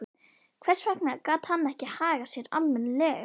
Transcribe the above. Hvers vegna gat hann ekki hagað sér almennilega?